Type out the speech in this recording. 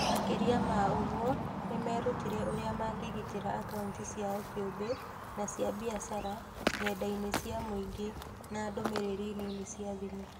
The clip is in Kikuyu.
Makĩria ma ũguo, nĩ meerutire ũrĩa mangĩgitĩra akaunti ciao kĩũmbe na cia biacara ng'enda-inĩ cia mũingĩ na ndũmĩrĩri nini cia thimũ